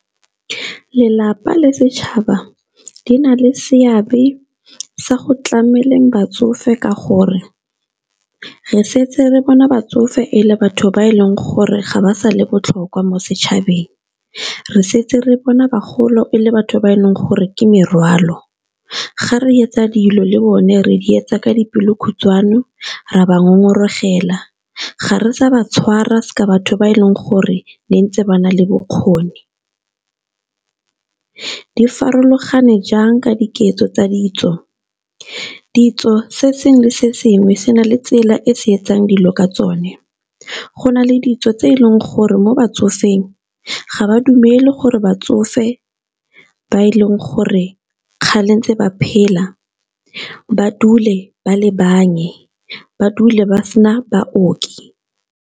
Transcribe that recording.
Lelapa le setšhaba di na le seabe sa go tlameleng batsofe ka gore re setse re bona batsofe e le batho ba e leng gore ga ba sa le botlhokwa mo setšhabeng, re setse re bona bagolo e le batho ba e leng gore ke morwalo, ga re etsa dilo le bone re di etsa ka dipelo khutshwane ra ba ngongoregela, ga re sa ba tshwara batho ba e leng gore ne ntse ba na le bokgoni. Di farologane jang ka diketso tsa ditso? Ditso se sengwe le sengwe se na le tsela e se etsang dilo ka tsone, go na le ditso tse e leng gore mo batsofeng ga ba dumele gore batsofe ba e leng gore kgale ntse ba phela ba dule ba le ba dule ba sena baoki.